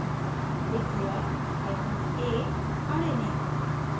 declare hyphen a arrayname